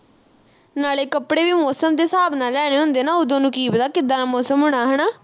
ਨਾਲੇ ਕੱਪੜੇ ਵੀ ਮੌਸਮ ਦੇ ਹਿਸਾਬ ਨਾਲ ਲੈਣੇ ਹੁੰਦੇ ਨਾ ਉਦੋ ਨੂੰ ਕੀ ਪਤਾ ਕਿੱਦਾਂ ਦਾ ਮੌਸਮ ਹੋਣਾ ਹਣਾ